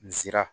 N sera